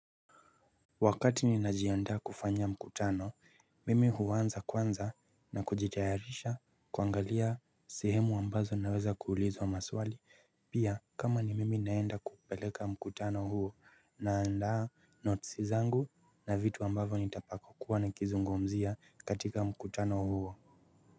Wakati ninajiandaa kufanya mkutano mimi huanza kwanza na kujitayarisha kuangalia sehemu ambazo naweza kuulizwa maswali pia kama ni mimi naenda kupeleka mkutano huo naandaa notes zangu na vitu ambavyo nitapako kuwa na kizungumzia katika mkutano huo.